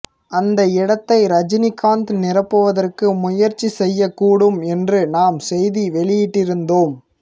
அந்த இடத்தை ரஜினிகாந்த் நிரப்புவதற்கு முயற்சி செய்யக் கூடும் என்றும் நாம் செய்தி வெளியிட்டிருந்தோம்